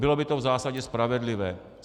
Bylo by to v zásadě spravedlivé.